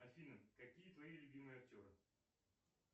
афина какие твои любимые актеры